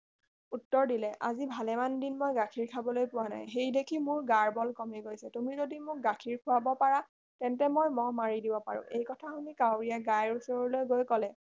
উত্তৰ দিলে আজি ভালেমান দিন মই গাখীৰ খাবলৈ পোৱা নাই সেইদেখি মোৰ গাৰ বল কমি গৈছে তুমি যাদি মোক গাখীৰ খুৱাৰ পাৰা তেন্তে মই মহ মাৰি দিব পাৰো এই কথা শুনি কাউৰীয়ে গাইৰ ওচৰলৈ গৈ কলে